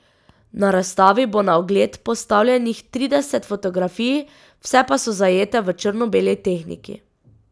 Na razstavi bo na ogled postavljenih trideset fotografij, vse pa so zajete v črno beli tehniki.